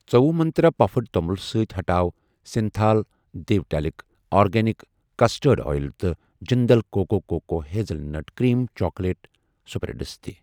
ژٔووُہ Mantra puffed توٚمُل سۭتۍ ہٹاو سِنتھال دِیو ٹیلک ، آرگینِِک کستٲڑڈ اٮ۪یِل تہٕ Jindal cocoa cocoa hazelnut cream chocolate spreads تہِ۔